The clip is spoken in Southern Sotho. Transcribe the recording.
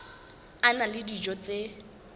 a na le dijo tse